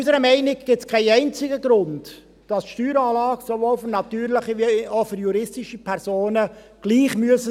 Unserer Meinung nach gibt es keinen einzigen Grund, dass die Steueranlagen sowohl für natürliche als auch für juristische Personen gleich sein müssen.